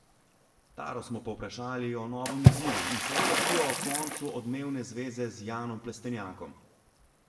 Taro smo povprašali o novem izzivu in seveda tudi o koncu odmevne zveze z Janom Plestenjakom.